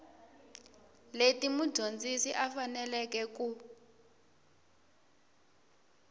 leti mudyondzi a faneleke ku